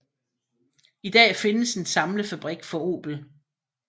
I dag findes en samlefabrik for Opel